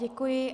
Děkuji.